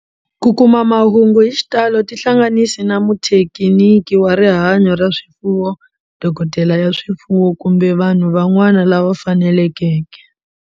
Ku kuma mahungu hi xitalo tihlanganisi na muthekiniki wa rihanyo ra swifuwo, dokodela ya swifuwo, kumbe vanhu van'wana lava fanelekeke.